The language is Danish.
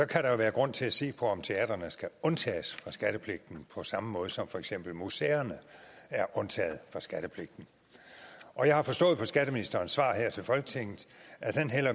kan der jo være grund til at se på om teatrene skal undtages fra skattepligten på samme som for eksempel museerne er undtaget fra skattepligten og jeg har forstået på skatteministerens svar her til folketinget at han